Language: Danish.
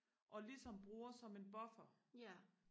og ligesom bruger som en buffer